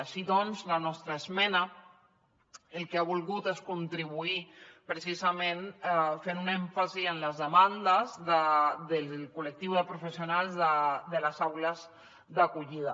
així doncs la nostra esmena el que ha volgut és contribuir hi precisament fent un èmfasi en les demandes del col·lectiu de professionals de les aules d’acollida